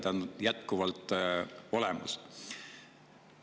See on jätkuvalt olemas.